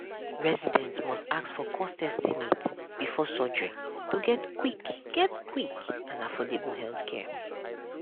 residents must ask for cost estimate before surgery to get quick get quick and affordable healthcare.